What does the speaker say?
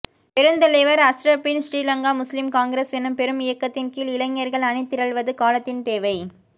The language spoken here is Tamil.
பெருந்தலைவர் அஷ்ரபின் ஶ்ரீலங்கா முஸ்லிம் காங்கிரஸ் எனும்பெரும் இயக்கத்தின் கீழ் இளைஞர்கள் அணிதிரள்வது காலத்தின் தேவை